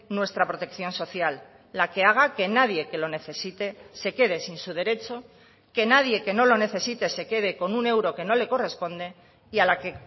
nuestra protección social la que haga que nadie que lo necesite se quede sin su derecho que nadie que no lo necesite se quede con un euro que no le corresponde y a la que